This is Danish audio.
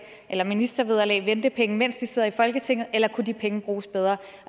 eller ministervederlag ventepenge mens de sidder i folketinget eller kunne de penge bruges bedre